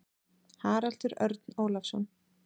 Haraldur Örn Ólafsson.